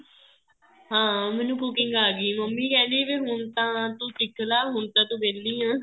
ਹਾਂ ਮੈਨੂੰ cooking ਆ ਗਈ ਮੰਮੀ ਕਹਿੰਦੀ ਹੁਣ ਤਾਂ ਤੂੰ ਸਿੱਖ ਲੈ ਹੁਣ ਤੂੰ ਵਿਹਲੀ ਆ